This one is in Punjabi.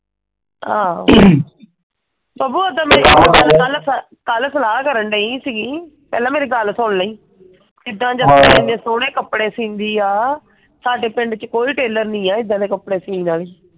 ਆਹੋ। ਕਲ ਸਲਾਹ ਕਰਨ ਡਈ ਸੀਗੀ। ਪਹਿਲਾਂ ਮੇਰੀ ਗੱਲ ਸੁਣ ਲਈ। ਇਹਨੇ ਸੋਨੇ ਕਪੜੇ ਸਿਓਂਦੀ ਆ। ਸਾਡੇ ਪਿੰਡ ਚ ਕੋਈ ਟੇਲਰ ਨਹੀਂ ਆ ਏਦਾਂ ਦੇ ਕਪੜੇ ਸੀਨ ਆਲੀ।